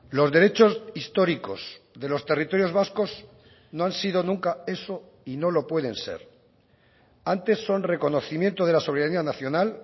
los derechos históricos de los territorios vascos no han sido nunca eso y no lo pueden ser antes son reconocimiento de la soberanía nacional